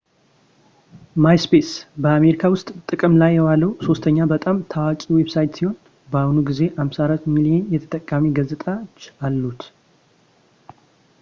ማይስፔስ በአሜሪካ ውስጥ ጥቅም ላይ የዋለው ሶስተኛ በጣም ታዋቂ ዌብሳይት ሲሆን በአሁኑ ጊዜ 54 ሚሊዮን የተጠቃሚ ገጽታዎች አሉት